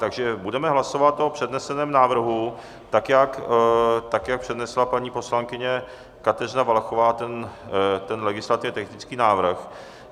Takže budeme hlasovat o předneseném návrhu, tak jak přednesla paní poslankyně Kateřina Valachová, ten legislativně technický návrh.